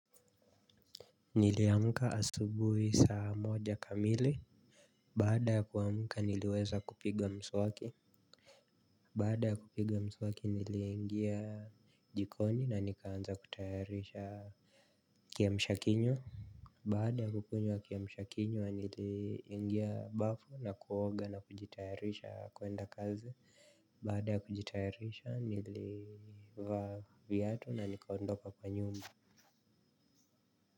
Niliamka asubuhi saa moja kamili. Baada ya kuamuka niliweza kupiga mswaki. Baada ya kupiga mswaki niliingia jikoni na nikaanza kutayarisha Kiamshakinywa. Baada ya kukunywa kiamshakinywa niliingia bafu na kuoga na kujitayarisha kuenda kazi. Baada ya kujitayarisha nilivaa viatu na nikaondoka kwa nyumba.